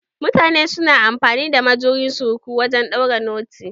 Mutane su na amfani da majuyin suruku wajen ɗaure noti.